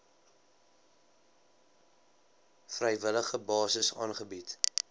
vrywillige basis aangebied